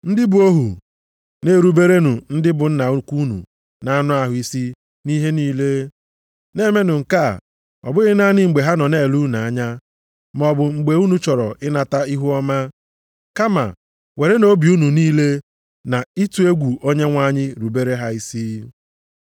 Ndị bụ ohu, na-eruberenụ ndị bụ nna unu ukwu nʼanụ ahụ isi nʼihe niile, na-emenụ nke a, ọ bụghị naanị mgbe ha nọ na-ele unu anya, maọbụ mgbe unu chọrọ ịnata ihuọma, kama werenụ obi unu niile, na ịtụ egwu Onyenwe anyị rubere ha isi.